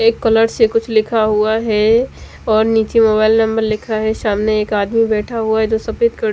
एक कलर से कुछ लिखा हुआ है और निचे मोबाइल नंबर लिखा है सामने एक आदमी बेठा हुआ है जो सफेद कल--